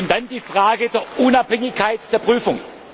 geht. Dann die Frage der Unabhängigkeit der Prüfung.